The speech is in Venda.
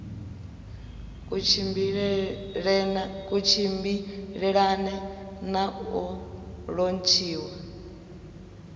ku tshimbilelane na u lontshiwa